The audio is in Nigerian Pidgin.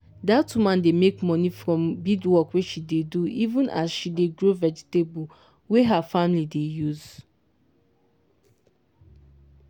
that woman dey make money from beadwork wey she dey do even as she dey grow vegetable wey her family dey use.